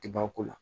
Ti ba ko la